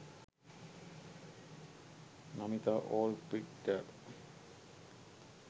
namitha all picture